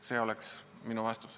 See oleks minu vastus.